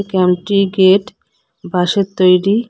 ক্যাম্পটির gate বাঁশের তৈরি।